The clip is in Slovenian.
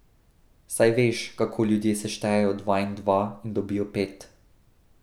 Saj veš, kako ljudje seštejejo dva in dva in dobijo pet.